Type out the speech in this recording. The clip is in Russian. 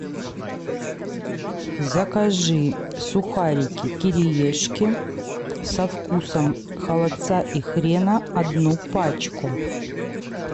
закажи сухарики кириешки со вкусом холодца и хрена одну пачку